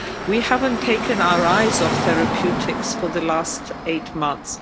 we haven't taken our eyes off therapeutics for the last eight months.